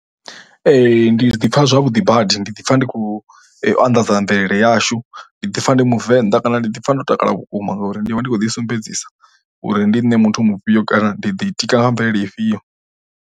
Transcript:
Ndi ḓi pfha zwavhuḓi badi, ndi ḓipfha ndi khou anḓadza mvelele yashu, ndi ḓipfha ndi muvenḓa kana ndi ḓipfha ndo takala vhukuma ngauri ndi vha ndi khou ḓisumbedzisa uri ndi nṋe muthu mufhio kana ndi ḓitika nga mvelele ifhio.